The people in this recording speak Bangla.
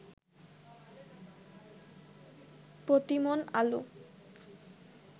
প্রতিমণ আলু